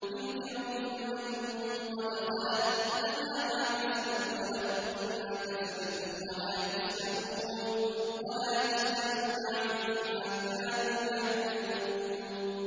تِلْكَ أُمَّةٌ قَدْ خَلَتْ ۖ لَهَا مَا كَسَبَتْ وَلَكُم مَّا كَسَبْتُمْ ۖ وَلَا تُسْأَلُونَ عَمَّا كَانُوا يَعْمَلُونَ